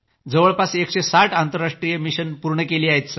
जवळपास 160 आंतरराष्ट्रीय मिशन पूर्ण केली आहेत